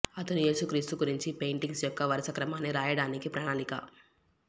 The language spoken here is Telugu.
అతను యేసు క్రీస్తు గురించి పెయింటింగ్స్ యొక్క వరుసక్రమాన్ని రాయడానికి ప్రణాళిక